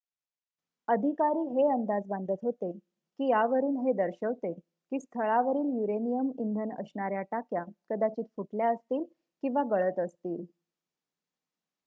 अधिकारी हे अंदाज बांधत होते की यावरून हे दर्शवते की स्थळावरील युरेनियम इंधन असणाऱ्या टाक्या कदाचित फुटल्या असतील किंवा गळत असतील